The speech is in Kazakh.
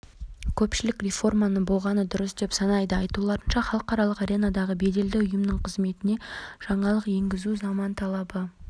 кедергі келтірсе де каталондықтар алған бетінен қайтқан жоқ жергілікті тұрғындардың көбі ресми мадридтің тосқауылдарына қарамай